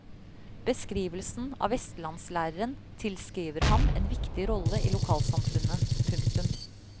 Beskrivelsen av vestlandslæreren tilskriver ham en viktig rolle i lokalsamfunnet. punktum